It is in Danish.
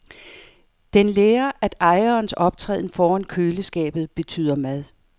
Den lærer, at ejerens optræden foran køleskabet betyder mad.